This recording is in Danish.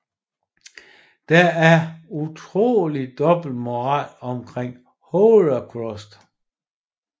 Der er en utrolig dobbeltmoral omkring Holocaust